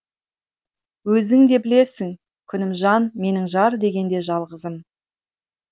өзің де білесің күнімжан менің жар дегенде жалғызым